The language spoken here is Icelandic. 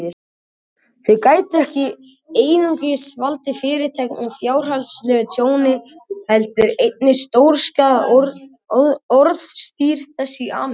Þau gætu ekki einungis valdið Fyrirtækinu fjárhagslegu tjóni, heldur einnig stórskaðað orðstír þess í Ameríku.